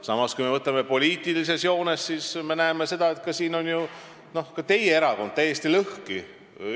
Samas, kui me võtame poliitilises joones, siis me näeme, et selles küsimuses on ju ka teie erakond täiesti lõhki.